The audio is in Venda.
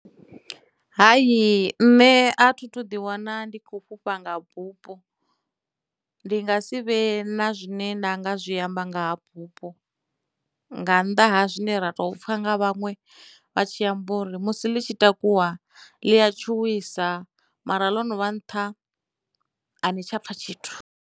Hai nṋe a thi thu ḓi wana ndi kho fhufha nga bufho ndi nga si vhe na zwine nda nga zwi amba nga ha bupo nga nnḓa ha zwine ra tou pfha nga vhaṅwe vha tshi amba uri musi ḽi tshi takuwa ḽi a tshuwisa mara ḽono vha nṱha a ni tsha pfa tshithu.